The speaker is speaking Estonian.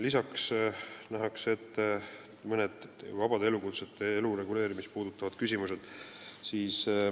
Lisaks on kõne all mõnede vabade elukutsete elu reguleerimise küsimused.